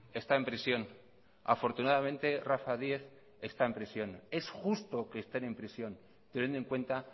está en prisión afortunadamente rafa díez está en prisión es justo que estén en prisión teniendo en cuenta